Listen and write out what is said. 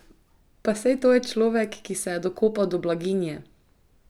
Pa saj to je človek, ki se je dokopal do blaginje!